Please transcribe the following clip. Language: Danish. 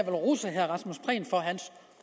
rose herre rasmus prehn for hans